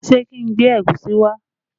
Ṣé kí n gbé ẹ̀gúsí wá?